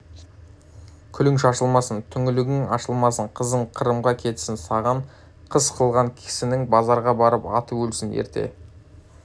күлің шашылмасын түңлігің ашылмасын қызың қырымға кетсін саған қас қылған кісінің базарға барып аты өлсін ерте